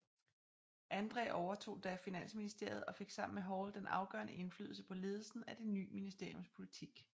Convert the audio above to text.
Andræ overtog da Finansministeriet og fik sammen med Hall den afgørende indflydelse på ledelsen af det ny ministeriums politik